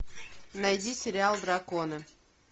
найди сериал драконы